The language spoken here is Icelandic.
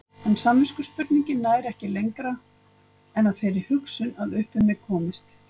En samviskuspurningin nær ekki lengra en að þeirri hugsun að upp um mig komist.